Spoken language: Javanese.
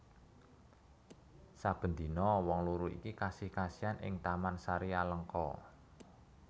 Saben dina wong loro iki kasih kasihan ing taman sari Alengka